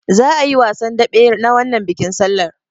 Za'a yi wasan daɓe na wannan bikin sallar.